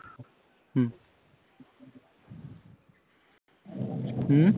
ਹੂ